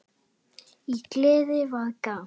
Í geði var gramt.